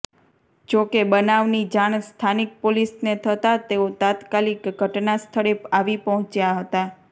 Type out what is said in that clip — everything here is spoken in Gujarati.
જોકે બનાવની જાણ સ્થાનિક પોલીસને થતા તેઓ તાત્કાલીક ઘટના સ્થળે આવી પહોંચ્યાં હતા